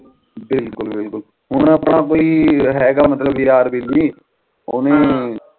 ਬਿਲਕੁਲ ਬਿਲਕੁਲ ਹੁਣ ਆਪਣਾ ਕੋਈ ਹੈਗਾ ਮਤਲਬ ਯਾਰ ਵੈਲੀ ਓਹਨੂੰ